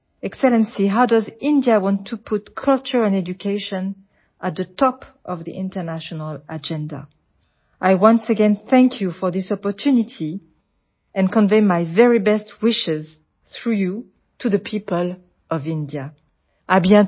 excellency how does India want to put culture and education at the top of the international agenda I once again thank you for this opportunity and convey my very best wishes through you to the people of India see you soon